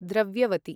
द्रव्यवति